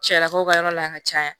Cɛlakaw ka yɔrɔ la yan ka caya